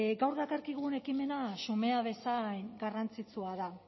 gaur dakarkigun ekimena xumea bezain garrantzitsua da